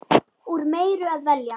Úr meiru að velja!